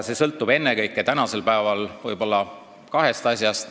See sõltub tänasel päeval ennekõike kahest asjast.